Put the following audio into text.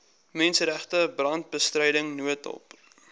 menseregte brandbestryding noodhulp